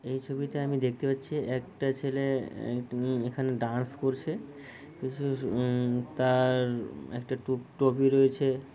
এই ছবি তে আমি দেখতে পাচ্ছি একটা ছেলে অ্যা এখানে ডান্স করছে তার একটা টু-টোপি রয়েছে।